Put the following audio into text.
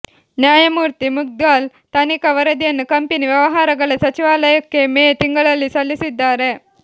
ನ್ಯಾಯಮೂರ್ತಿ ಮುದ್ಗಲ್ ತನಿಖಾ ವರದಿಯನ್ನು ಕಂಪೆನಿ ವ್ಯವಹಾರಗಳ ಸಚಿವಾಲಯಕ್ಕೆ ಮೇ ತಿಂಗಳಲ್ಲಿ ಸಲ್ಲಿಸಿದ್ದಾರೆ